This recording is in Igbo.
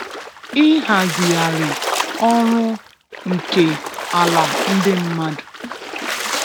Ịhazigharị ọrụ nke ala ndị mmadụ